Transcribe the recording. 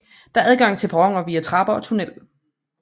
Der er adgang til perroner via trapper og tunnel